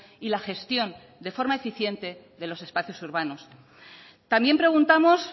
y la gestión de forma eficiente de los espacios urbanos también preguntamos